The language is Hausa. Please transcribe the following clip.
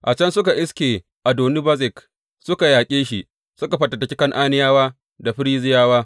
A can suka iske Adoni Bezek, suka yaƙe shi, suka fatattaki Kan’aniyawa da Ferizziyawa.